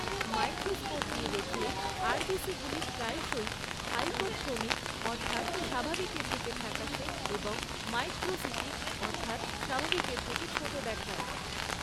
Microscope দিয়ে দেখলে আরবিসিগুলি প্রায়শই হাইপোক্রোমিক, অর্থাৎ স্বাভাবিকের থেকে ফ্যাকাশে এবং মাইক্রোসিটিক, অর্থাৎ স্বাভাবিকের চেয়ে ছোট দেখায়।